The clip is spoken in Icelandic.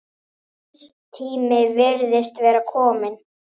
Hans tími virðist vera kominn.